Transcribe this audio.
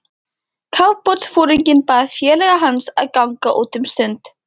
Kafbátsforinginn bað félaga hans að ganga út um stund.